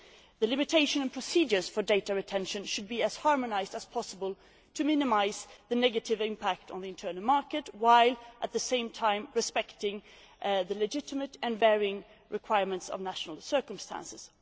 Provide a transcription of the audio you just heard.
The limitation and procedures for data retention should be as harmonised as possible to minimise the negative impact on the internal market while, at the same time, respecting the legitimate and varying requirements of national circumstances.